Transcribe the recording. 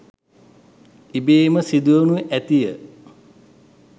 ඉබේම සිදුවනු ඇතිය.